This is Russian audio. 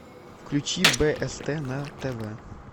включи бст на тв